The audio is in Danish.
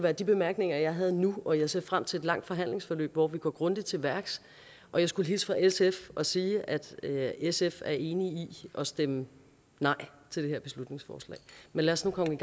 er de bemærkninger jeg har nu og jeg ser frem til et langt forhandlingsforløb hvor vi går grundigt til værks og jeg skulle hilse fra sf og sige at sf er enige i at stemme nej til det her beslutningsforslag men lad os nu komme